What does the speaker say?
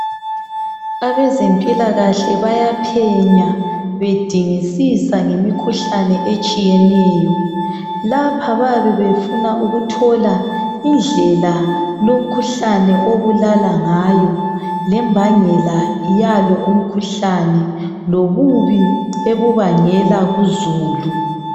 Abezempilakahle bayaphenya bedingisisa ngemikhuhlane etshiyeneyo lapha bayabe befuna ukuthola indlela yomkhuhlane obulala ngayo lembangela yalo umkhuhlane lobubi ebubangela kuzulu.